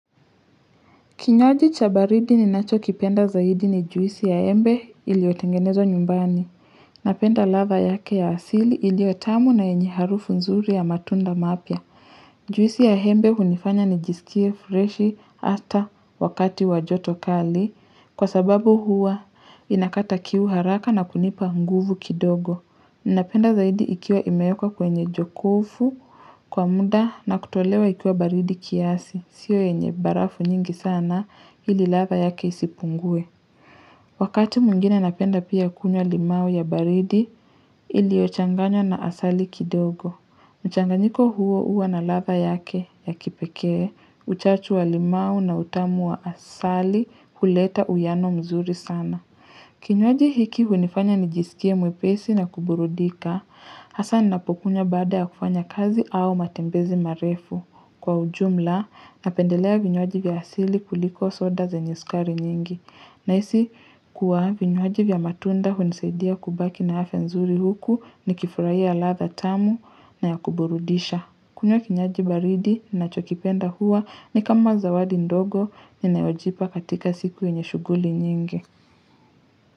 Kinyoji cha baridi ninacho kipenda zaidi ni juisi ya embe iliotengenezo nyumbani. Napenda latha yake ya asili iliyo tamu na enye harufu nzuri ya matunda mapya. Juisi ya embe hunifanya nijisikie freshi hata wakati wa joto kali. Kwa sababu hua inakata kiu haraka na kunipa nguvu kidogo. Ninapenda zaidi ikiwa imewekwa kwenye jokofu kwa muda na kutolewa ikiwa baridi kiasi. Sio yenye barafu nyingi sana ili latha yake isipungue. Wakati mwingine napenda pia kunywa limau ya baridi iliyo changanywa na asali kidogo. Mchanganyiko huo huwa na latha yake ya kipekee, uchachu wa limau na utamu wa asali huleta uwiano mzuri sana. Kinywaji hiki hunifanya nijisikie mwepesi na kuburudika. Hasa ninapokunywa baada ya kufanya kazi au matembezi marefu kwa ujumla napendelea vinywaji vya asili kuliko soda zenye sukari nyingi. Nahisi kuwa vinywaji vya matunda hunisaidia kubaki na afya nzuri huku nikifurahia latha tamu na ya kuburudisha. Kunywa kinywaji baridi nachokipenda huwa ni kama zawadi ndogo ninayojipa katika siku yenye shughuli nyingi.